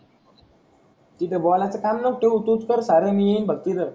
तिथं बोलायचं तू तूच कर सार मी येईन फक्त तिथं.